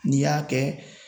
N'i y'a kɛ